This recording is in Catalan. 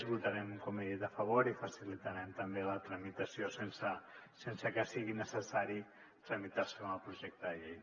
votarem com he dit a favor i facilitarem també la tramitació sense que sigui necessari tramitar se com a projecte de llei